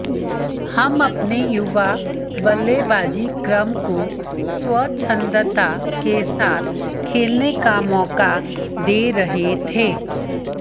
हम अपने युवा बल्लेबाजी क्रम को स्वछंदता के साथ खेलने का मौका दे रहे थे